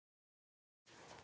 Gott geymi mömmu mína.